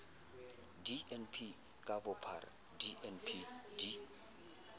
dnp ka bophara dnp di